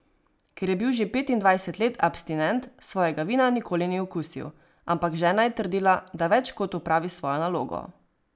Ker je bil že petindvajset let abstinent, svojega vina nikoli ni okusil, ampak žena je trdila, da več kot opravi svojo nalogo.